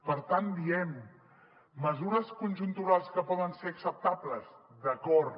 per tant diem mesures conjunturals que poden ser acceptables d’acord